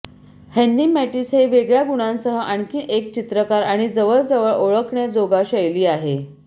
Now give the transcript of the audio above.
Henry Matisse हे वेगळ्या गुणांसह आणखी एक चित्रकार आणि जवळजवळ ओळखण्याजोगा शैली आहे